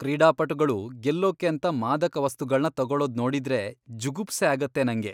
ಕ್ರೀಡಾಪಟುಗಳು ಗೆಲ್ಲೋಕ್ಕೇಂತ ಮಾದಕವಸ್ತುಗಳ್ನ ತಗೊಳೋದ್ ನೋಡಿದ್ರೆ ಜುಗುಪ್ಸೆ ಆಗತ್ತೆ ನಂಗೆ.